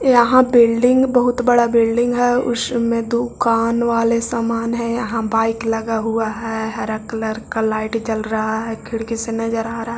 यहाँ बिल्डिंग बहुत बड़ा बिल्डिंग है उसमे दुकान वाले सामान है यहाँ बाइक लगा हुआ है हरा कलर का लाइट जल रहा है खिड़की से नजर आ रहा।